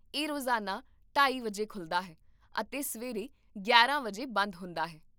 ਇਹ ਰੋਜ਼ਾਨਾ ਢਾਈ ਵਜੇ ਖੁੱਲ੍ਹਦਾ ਹੈ ਅਤੇ ਸਵੇਰੇ ਗਿਆਰਾਂ ਵਜੇ ਬੰਦ ਹੁੰਦਾ ਹੈ